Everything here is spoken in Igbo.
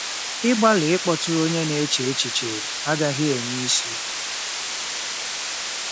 Ịgbalị ịkpọtụrụ onye na-eche echiche agaghị enwe isi.